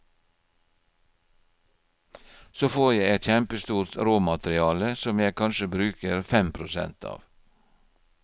Så får jeg et kjempestort råmateriale som jeg kanskje bruker fem prosent av.